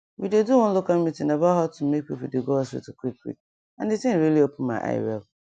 we dey do one local meeting about how to make people dey go hospital quick quick and the thing really open my eye wel